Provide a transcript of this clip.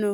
no?